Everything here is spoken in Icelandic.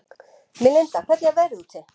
Melinda, hvernig er veðrið úti?